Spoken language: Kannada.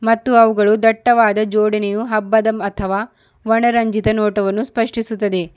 ಮತ್ತು ಅವುಗಳು ದಟ್ಟವಾದ ಜೋಡಣೆಯು ಹಬ್ಬದ ಅಥವಾ ವರ್ಣರಂಜಿತ ನೋಟವನ್ನು ಸ್ಪಷ್ಟಿಸುತದೆ.